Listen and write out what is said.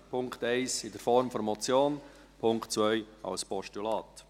Punkt 1 in Form der Motion, Punkt 2 als Postulat.